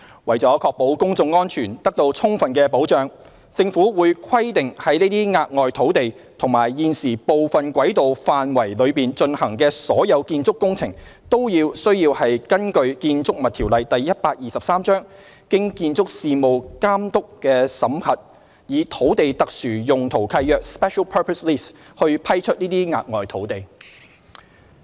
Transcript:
為了確保公眾安全得到充分保障，政府會規定在這些額外土地及現時部分軌道範圍內進行的所有建築工程，均須根據《建築物條例》經建築事務監督妥為審核，因此以土地特殊用途契約來批出這些額外土地。